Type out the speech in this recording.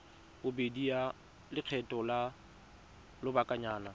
bobedi ya lekgetho la lobakanyana